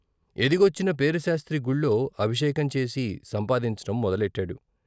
ఎదిగొచ్చిన పేరిశాస్త్రి గుళ్ళో ఆభిషేకం చేసి సంపాదించటం మొదలెట్టాడు.